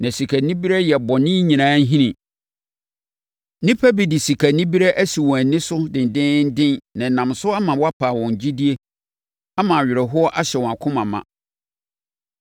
Na sikanibereɛ yɛ bɔne nyinaa nhini. Nnipa bi de sikanibereɛ asi wɔn ani so dendeenden nam so ama wɔapa wɔn gyidie ama awerɛhoɔ ahyɛ wɔn akoma ma.